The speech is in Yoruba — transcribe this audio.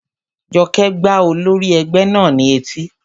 Jọkẹ́ gbá olórí ẹgbẹ́ náà ní etí